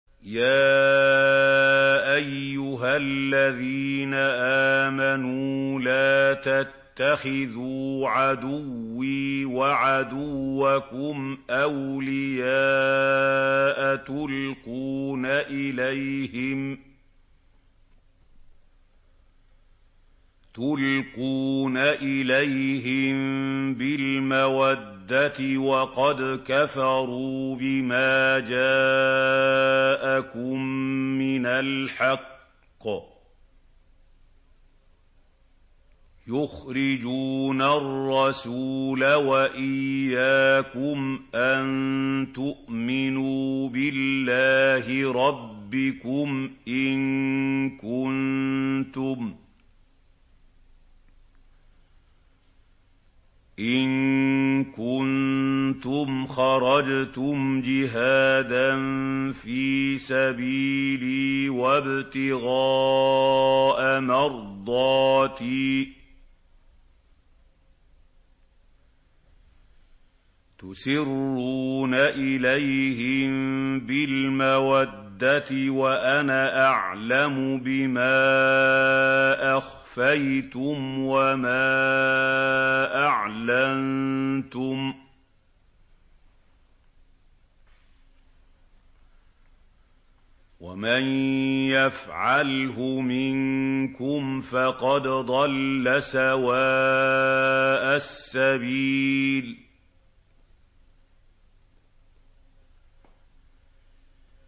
يَا أَيُّهَا الَّذِينَ آمَنُوا لَا تَتَّخِذُوا عَدُوِّي وَعَدُوَّكُمْ أَوْلِيَاءَ تُلْقُونَ إِلَيْهِم بِالْمَوَدَّةِ وَقَدْ كَفَرُوا بِمَا جَاءَكُم مِّنَ الْحَقِّ يُخْرِجُونَ الرَّسُولَ وَإِيَّاكُمْ ۙ أَن تُؤْمِنُوا بِاللَّهِ رَبِّكُمْ إِن كُنتُمْ خَرَجْتُمْ جِهَادًا فِي سَبِيلِي وَابْتِغَاءَ مَرْضَاتِي ۚ تُسِرُّونَ إِلَيْهِم بِالْمَوَدَّةِ وَأَنَا أَعْلَمُ بِمَا أَخْفَيْتُمْ وَمَا أَعْلَنتُمْ ۚ وَمَن يَفْعَلْهُ مِنكُمْ فَقَدْ ضَلَّ سَوَاءَ السَّبِيلِ